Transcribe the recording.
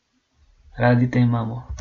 Radi te imamo!